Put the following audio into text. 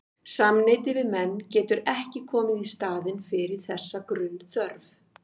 Samneyti við menn getur ekki komið í staðinn fyrir þessa grunnþörf.